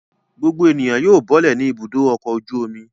Gbogbo ènìyàn yóò bọ́lẹ̀ ní Ibùdó-ọkọ̀ ojú-omi.